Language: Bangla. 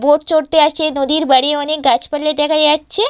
বোট চড়তে আসে নদীর বারে অনেক গাছপালা দেখা যাচ্ছে।